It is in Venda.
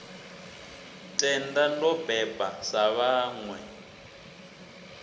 tenda ndo beba sa vhaṋwe